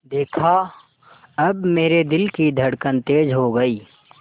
देखा अब मेरे दिल की धड़कन तेज़ हो गई